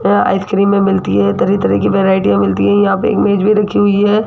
यह आइसक्रीमें मिलती हैं तरह तरह की वैरायटीयां मिलती है यहां पे इमेज भी रखी हुई है।